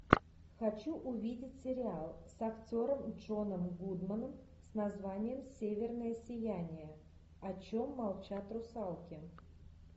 хочу увидеть сериал с актером джоном гудманом с названием северное сияние о чем молчат русалки